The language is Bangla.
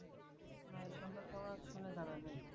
সম্পর্কে আমাকে কিছুই জানা নেই